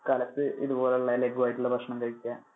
കാലത്തു ഇതുപോലുള്ള ലഗുവായിട്ടുള്ള ഭക്ഷണം കഴിക്ക